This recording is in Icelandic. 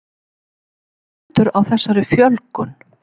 En hvernig stendur á þessari fjölgun?